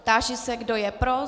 Táži se, kdo je pro.